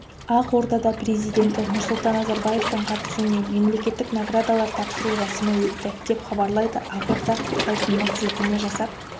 ақордада президенті нұрсұлтан назарбаевтың қатысуымен мемлекеттік наградалар тапсыру рәсімі өтті деп хабарлайды ақорда сайтына сілтеме жасап